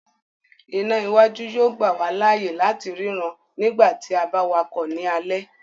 Iná iwájú yóò gbà wá láàyè láti ri no nígbàtí a ba wakọ ni alẹ